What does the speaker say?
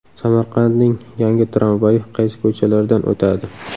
Samarqandning yangi tramvayi qaysi ko‘chalardan o‘tadi?.